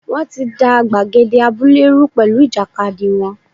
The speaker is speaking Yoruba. Wọ́n ti da gbàgede abúlé rú pẹ̀lú ìjàkadì wọn.